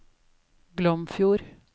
Glomfjord